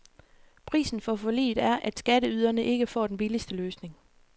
Prisen for forliget er, at skatteyderne ikke får den billigste løsning.